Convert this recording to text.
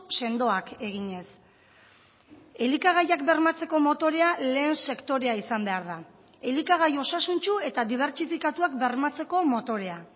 sendoak eginez elikagaiak bermatzeko motorea lehen sektorea izan behar da elikagai osasuntsu eta dibertsifikatuak bermatzeko motorea